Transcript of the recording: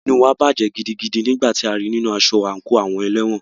Inú wa bàjẹ́ gidigidi nígbà tí a rí í nínu aṣọ àńkò àwọn ẹlẹ́wọ̀n.